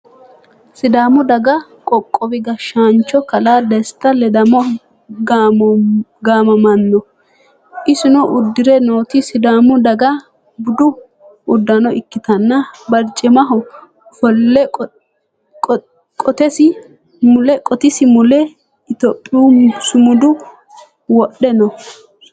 Sidaamu daga qoqqowi gashshaancho kalaa desta ledamo gaamamanno. Isino uddire nooti sidaamu daga budu uddano ikkitanna barcimaho ofolle qotisi mule Itiyophiyu sumuda wodhe no.